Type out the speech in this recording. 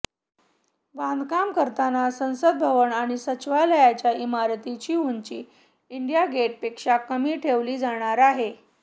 बांधकाम करताना संसद भवन आणि सचिवालयाच्या इमारतींची उंची इंडिया गेटपेक्षा कमी ठेवली जाणार आहे